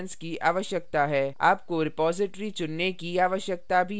आपको repository चुनने की आवश्यकता भी है